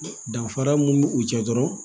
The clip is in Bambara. Danfara mun b'u jɛ dɔrɔn